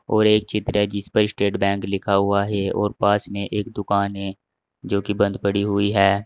और एक चित्र है जिस पर स्टेट बैंक लिखा हुआ है और पास में एक दुकान है जो कि बंद पड़ी हुई है।